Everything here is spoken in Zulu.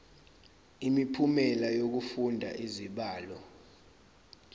imiphumela yokufunda izibalo